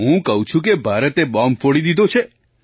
હું કહું છું કે ભારતે બોંબ ફોડી દીધો છે